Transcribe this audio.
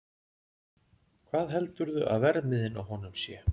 Hvað heldurðu að verðmiðinn á honum sé?